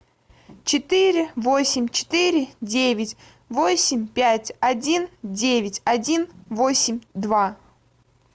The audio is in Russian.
четыре восемь четыре девять восемь пять один девять один восемь два